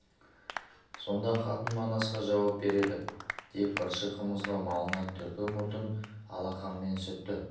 сонда қатын манасқа жауап береді деп ыршы қымызға малынған түрпі мұртын алақанымен сүртті